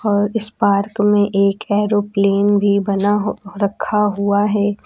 और इस पार्क में एक एरोप्लेन भी बना रखा हुआ है।